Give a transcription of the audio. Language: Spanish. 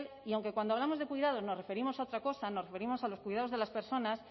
y aunque cuando hablamos de cuidado nos referimos a otra cosa nos referimos a los cuidados de las personas